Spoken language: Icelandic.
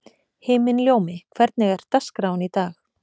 Himinljómi, hvernig er dagskráin í dag?